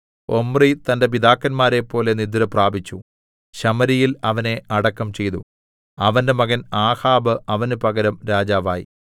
Omri തന്റെ പിതാക്കന്മാരെപ്പോലെ നിദ്രപ്രാപിച്ചു ശമര്യയിൽ അവനെ അടക്കം ചെയ്തു അവന്റെ മകൻ ആഹാബ് അവന് പകരം രാജാവായി